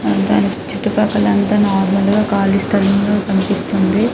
దాని చుట్టూ పక్కల అంత నార్మల్ గ కాళీ స్థలం ల కనిపిస్తుంది .